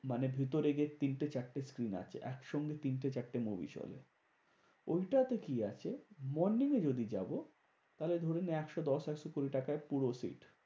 মানে ভিতরে গিয়ে তিনটে চারটে screen আছে একসঙ্গে তিনটে চারটে movie চলে। ওইটাতে কি আছে? morning এ যদি যাবো, তাহলে ধরে না একশো দশ একশো কুড়ি টাকায় পুরো seat.